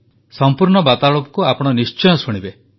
ସମ୍ପୂର୍ଣ୍ଣ ବାର୍ତ୍ତାଳାପକୁ ଆପଣ ନିଶ୍ଚୟ ଶୁଣିବେ